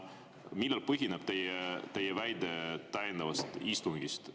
Millel põhineb teie väide täiendava istungi kohta?